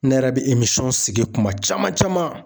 Ne yɛrɛ bɛ sigi kuma caman caman